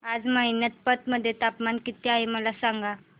आज मैनपत मध्ये तापमान किती आहे मला सांगा